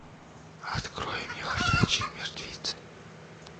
открой мне ходячие мертвецы